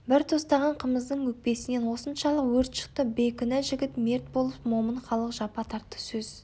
бір тостаған қымыздың өкпесінен осыншалық өрт шықты бейкүнә жігіт мерт болып момын халық жапа тартты сөз